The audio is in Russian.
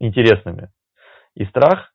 интересными и страх